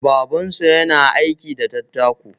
Babansu yana aiki da dattako.